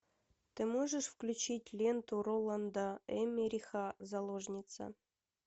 ты можешь включить ленту роланда эммериха заложница